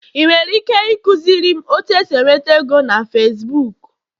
ị nwere ike ịkụziri m otu esi enweta ego na Facibuku?